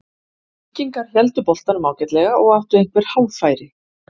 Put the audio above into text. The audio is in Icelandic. Víkingar héldu boltanum ágætlega og áttu einhver hálffæri.